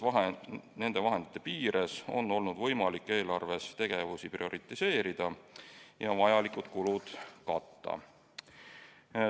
Nende vahendite piires on olnud võimalik eelarves tegevusi prioriseerida ja vajalikud kulud katta.